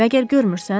Məgər görmürsən?